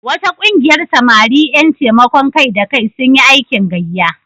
Wata ƙungiyar samari ƴan taimakon kai-da-kai sun yi aikin gayya.